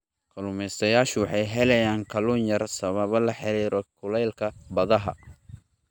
Kalluumeystayaashu waxay helayaan kalluun yar sababo la xiriira kuleylka badaha.